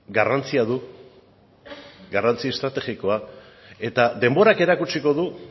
garrantzia du garrantzi estrategikoa eta denborak erakutsiko du